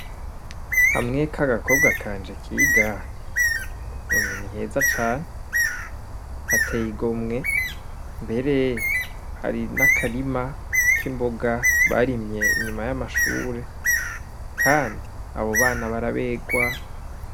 Hamwe ka gakobwa kanje kiga emwe ni heza cane hateye igomwe mbere hari n'akarima k'imboga barimye inyuma y'amashure, kandi abo bana baraberwa.